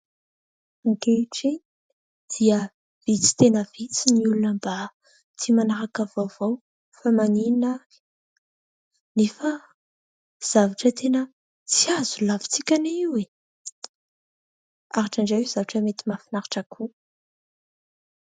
Ankehitriny dia vitsy tena vitsy ny olona mba tia manaraka vaovao, fa maninona ary ? Nefa zavatra tena tsy azo lavintsika anie io e ! Ary indraindray io zavatra mety mahafinaritra koa.